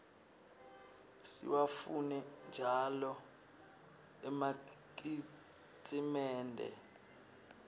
siwafune njau emakitnsimende